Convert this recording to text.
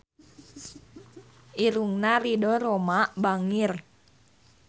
Irungna Ridho Roma bangir